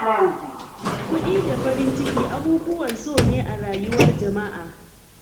Kuɗi da farin ciki abubuwan so ne a rayuwar jama'a.